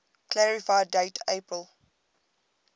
clarify date april